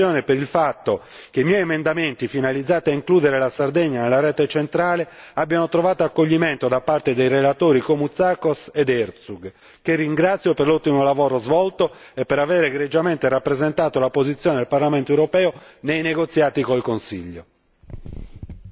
Esprimo infine soddisfazione per il fatto che i miei emendamenti finalizzati a includere la Sardegna nella rete centrale abbiano trovato accoglimento da parte dei relatori Koumoutsakos ed Ertug, che ringrazio per l'ottimo lavoro svolto e per aver egregiamente rappresentato la posizione del Parlamento europeo nei negoziati con il Consiglio.